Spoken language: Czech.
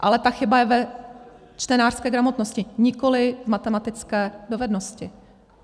Ale ta chyba je ve čtenářské gramotnosti, nikoli v matematické dovednosti.